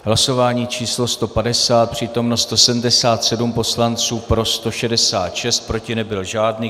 Hlasování číslo 150, přítomno 177 poslanců, pro 166, proti nebyl žádný.